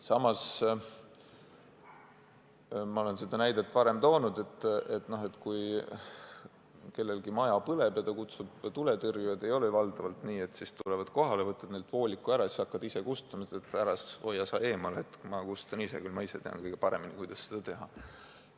Samas, ma olen seda näidet varem toonud, et kui kellelgi maja põleb ja ta kutsub tuletõrjujad, siis ei ole ju tavaliselt nii, et tuletõrjujad tulevad kohale, aga väljakutsuja võtab neilt vooliku ära ja hakkab ise kustutama, ütleb, et hoidke te eemale, ma kustutan ise, ma ise tean kõige paremini, kuidas seda teha.